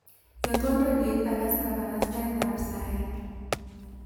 Yotwo redioit akas kabarastatab saii.